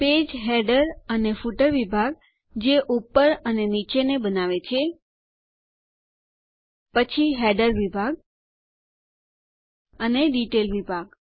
page header અને footer વિભાગ જે ઉપર અને નીચે ને બનાવે છે પછી હેડર વિભાગ અને ડિટેલ વિભાગ